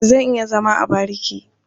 Zan iya zama a bariki.